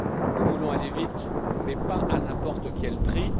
Nous voulons aller vite, mais pas à n'importe quel prix.